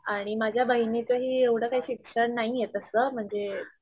आणि माझ्या बहिणींचही एवढं काही शिक्षण नाहीये तस म्हणजे,